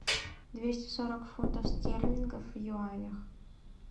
двести сорок фунтов стерлингов в юанях